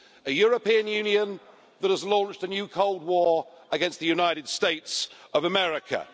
A European Union that has launched a new Cold War against the United States of America.